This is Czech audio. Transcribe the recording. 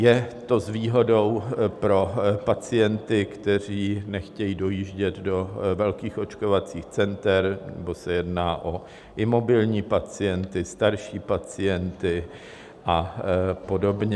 Je to s výhodou pro pacienty, kteří nechtějí dojíždět do velkých očkovacích center, nebo se jedná o imobilní pacienty, starší pacienty a podobně.